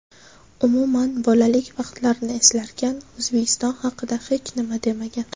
Umuman, bolalik vaqtlarini eslarkan O‘zbekiston haqida hech nima demagan.